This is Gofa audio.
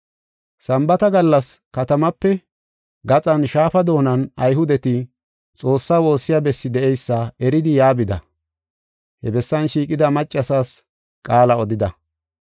Sambaata gallas katamaape gaxan Shaafa doonan Ayhudeti Xoossaa woossiya bessi de7eysa eridi yaa bida. He bessan shiiqida maccasaas qaala odida.